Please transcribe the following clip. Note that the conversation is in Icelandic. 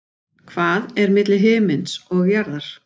Hvað er milli himins og jarðar?